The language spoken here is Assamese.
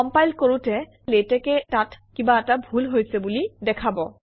কমপাইল কৰোঁতে লেটেক্সে তাত কিবা এটা ভুল হৈছে বুলি দেখুৱাব